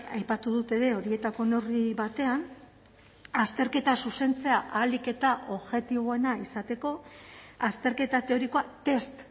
aipatu dut ere horietako neurri batean azterketa zuzentzea ahalik eta objektiboena izateko azterketa teorikoa test